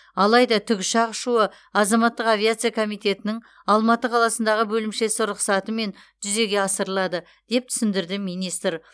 алайда тікұшақ ұшуы азаматтық авиация комитетінің алматы қаласындағы бөлімшесі рұқсатымен жүзеге асырылады деп түсіндірді министр